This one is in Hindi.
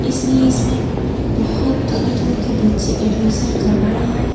इसलिए इसमें बहुत दूर-दूर के बच्चे एडमिशन करवाए है।